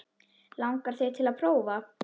Langar þig til að prófa?